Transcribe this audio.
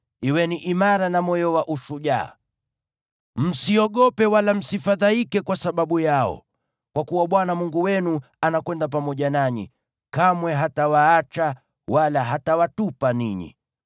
Kuweni imara na moyo wa ushujaa. Msiogope wala msifadhaike kwa sababu yao, kwa kuwa Bwana Mungu wenu anakwenda pamoja nanyi; kamwe hatawaacha wala hatawatupa ninyi.”